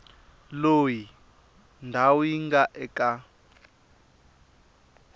loyi ndhawu yi nga eka